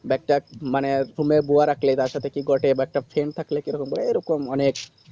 but মানে তুমরা দুওয়া কার সাথে কি গঠে but accident থাকলে কি রকম বলে এ এরকম অনেক